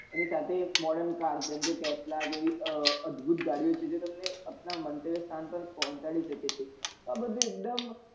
એના સાથે એક modern car જેમ કે tesla જેવી અ અદભુત ગાડીઓ છે જે તમને અપના મંતવ્ય સ્થાન પર પહોચાડી શકે છે આ બધું એકદમ